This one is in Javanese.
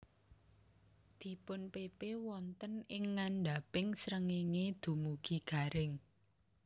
Dipunpepe wonten ing ngandhaping srengéngé dumugi garing